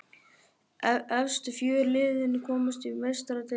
Efstu fjögur liðin komast í Meistaradeildina.